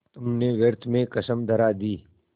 तुमने व्यर्थ में कसम धरा दी